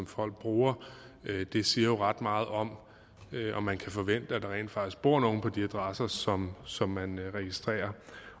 folk bruger det siger jo ret meget om om man kan forvente at der rent faktisk bor nogen på de adresser som som man registrerer